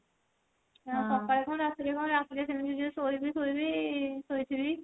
ଆଉ ସକାଳେ କଣ ରାତିରେ କଣ ରାତିରେ ଯଦି ଶୋଇବି ଶୋଇବି ଶୋଇଥିବି